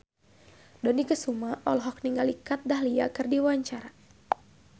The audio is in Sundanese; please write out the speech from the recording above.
Dony Kesuma olohok ningali Kat Dahlia keur diwawancara